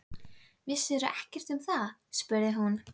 Vissirðu ekkert um það? spurði hún.